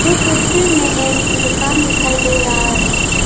तस्वीर में एक दुकान दिखाई दे रहा है।